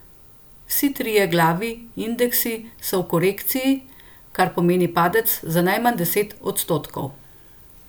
Vsi trije glavi indeksi so v korekciji, kar pomeni padec za najmanj deset odstotkov.